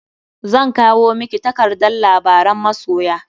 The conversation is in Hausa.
Zan kwao miki takardar labaran masoya.